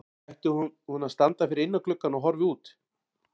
Ætli hún standi ekki þarna fyrir innan gluggann og horfi út?